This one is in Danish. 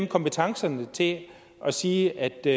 kompetencerne til at sige at det